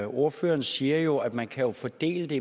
ordføreren siger jo at man kan fordele